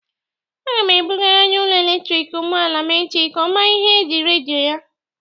Aga m ebụgara onye ụlọ eletriki ụgbọala m echi ka ọ mara ihe ji redio ya.